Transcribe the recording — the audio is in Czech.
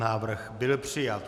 Návrh byl přijat.